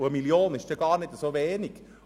Eine Million ist nicht wenig.